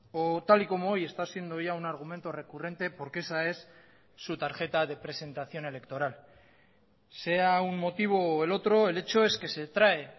o tal y como hoy está siendo ya un argumento recurrente porque esa es su tarjeta de presentación electoral sea un motivo o el otro el hecho es que se trae